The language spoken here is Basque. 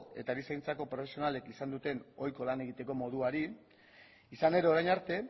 eta erizaintzako profesionalek izan duten ohiko lan egiteko moduari izan ere orain arte